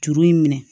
Juru in minɛ